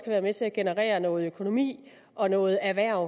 være med til at generere noget økonomi og noget erhverv